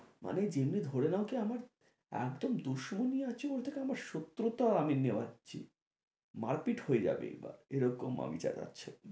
মানে যেমনি ধরে নাও কি আমার একদম আছে ওদের আমার শত্রুতাও আমি নেওয়াচ্ছি মারপিট হয়ে যাবে এবার, এরকম আমি চেঁচাচ্ছি